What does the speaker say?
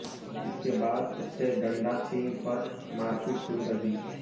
इसके बाद उससे डंडा छीन पर मारपीट शुरू कर दी